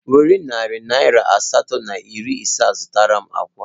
Were narị naira asatọ na iri ise a zụtara m akwa